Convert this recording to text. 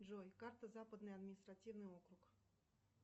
джой карта западный административный округ